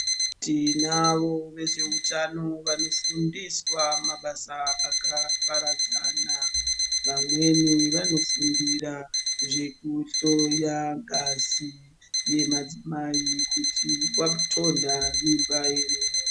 Tinavo vezveutano vanofundiswa mabasa akaparadzana vamweni vanofundira zveku hloya ngazi yemadzimai kuti watonha mimba ere.